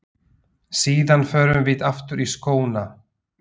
Síðan förum við aftur í skóna.